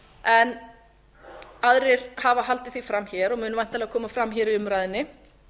en aðrir hafa haldið því fram hér og mun væntanlega koma fram hér í umræðunni